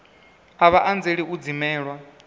a vha anzeli u dzimelwa